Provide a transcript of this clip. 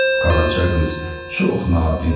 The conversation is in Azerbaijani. Qaraca qız çox nadinc idi.